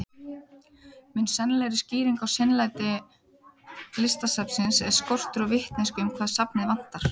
Mun sennilegri skýring á seinlæti Listasafnsins er skortur á vitneskju um hvað safnið vantar.